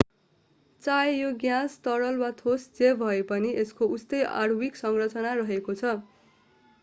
चाहे यो ग्याँस तरल वा ठोस जे भएपनि यसको उस्तै आणविक संरचना रहेको छ